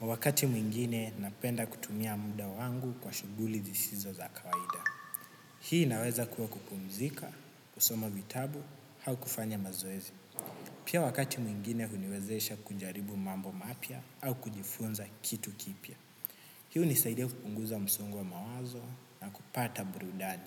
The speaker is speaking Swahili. Wakati mwingine napenda kutumia muda wangu kwa shuguli zisizo za kawaida. Hii naweza kuwa kupumzika, kusoma vitabu, hau kufanya mazoezi. Pia wakati mwingine uniwezesha kunjaribu mambo mapia au kujifunza kitu kipia. Hi unisaidia kupunguza msungo wa mawazo na kupata burudani.